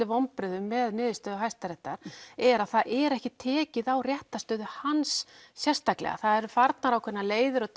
vonbrigðum með niðurstöðu Hæstaréttar er að það er ekki tekið á réttarstöðu hans sérstaklega það eru farnar ákveðnar leiðir og